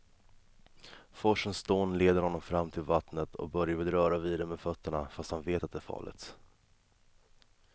Forsens dån leder honom fram till vattnet och Börje vill röra vid det med fötterna, fast han vet att det är farligt.